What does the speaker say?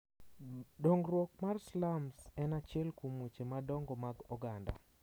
Dongruok mar slums en achiel kuom weche madongo mag oganda .